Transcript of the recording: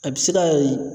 A bɛ se ka